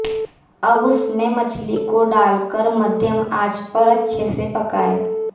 अब उसमें मछली को डाल कर मध्यम आंच पर अच्छे से पकाएं